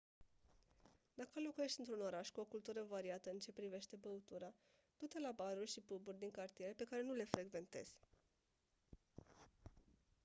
dacă locuiești într-un oraș cu o cultură variată în ce privește băutura du-te la baruri și pub-uri din cartiere pe care nu le frecventezi